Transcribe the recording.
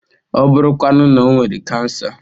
Ọ bụrụ kwanu na o nwere kansa?